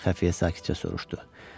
Xəfiyə sakitcə soruşdu.